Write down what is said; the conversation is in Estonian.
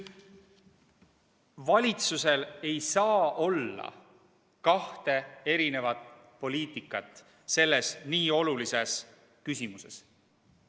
Valitsusel ei saa olla kahte erisugust poliitikat nii olulises küsimuses.